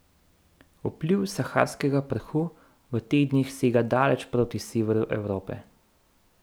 Vpliv saharskega prahu v teh dneh sega daleč proti severu Evrope.